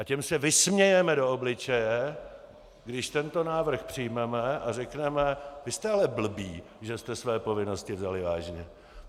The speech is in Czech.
A těm se vysmějeme do obličeje, když tento návrh přijmeme a řekneme: Vy jste ale blbí, že jste své povinnosti vzali vážně.